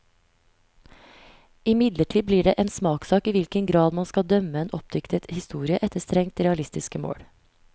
Imidlertid blir det en smakssak i hvilken grad man skal dømme en oppdiktet historie efter strengt realistiske mål.